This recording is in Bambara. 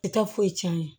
I taa foyi c'an ye